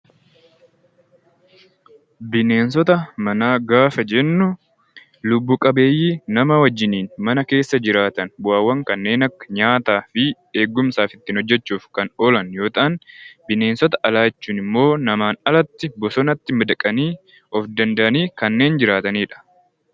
Bineensota manaa gaafa jennu lubbu qabeeyyii nama wajjiniin mana keessa jiraatan, bu'aawwan kanneen akka nyaataa fi eegumsaaf ittiin hojjechuuf kan oolan yoo ta'an, bineensota alaa jechuun immoo namaan alatti bosonatti madaqanii, of danda'anii kanneen jiraatanidha.